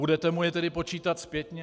Budete mu je tedy počítat zpětně?